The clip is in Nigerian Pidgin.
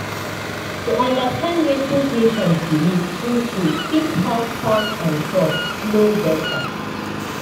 to understand wetin patient believe true true fit help talk and trust flow better.